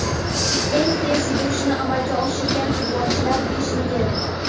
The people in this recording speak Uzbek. Eng tez yugurishni amalga oshirgan futbolchilar beshligi.